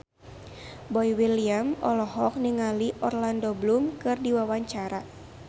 Boy William olohok ningali Orlando Bloom keur diwawancara